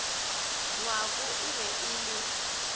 ngwako e be e le